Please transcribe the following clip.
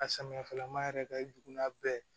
A samiyafɛla ma yɛrɛ ka i jug'a bɛɛ ye